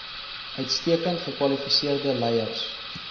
uitstekend gekwalifiseerde leiers